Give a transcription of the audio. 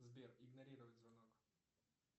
сбер игнорировать звонок